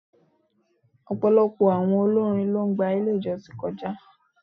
Ọ̀pọ̀lọpọ̀ àwọn olórin ló gba ilé ìjọsìn kọjá.